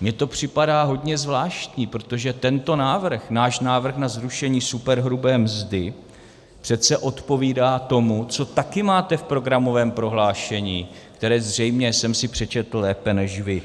mi to připadá hodně zvláštní, protože tento návrh, náš návrh na zrušení superhrubé mzdy, přece odpovídá tomu, co také máte v programovém prohlášení, které zřejmě jsem si přečetl lépe než vy.